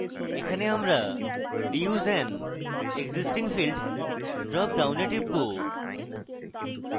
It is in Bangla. এক্ষেত্রে আমরা reuse an existing field dropডাউনে টিপব